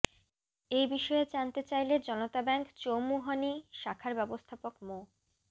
এ বিষয়ে জানতে চাইলে জনতা ব্যাংক চৌমুহনী শাখার ব্যবস্থাপক মো